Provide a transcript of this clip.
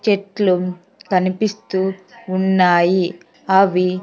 చెట్లు కనిపిస్తూ ఉన్నాయి. అవి --